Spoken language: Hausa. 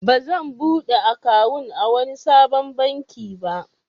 Ba zan buɗe akawun a wani sabon baki ba.